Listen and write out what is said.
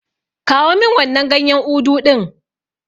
Kawo min wannan ganyen Udu ɗin.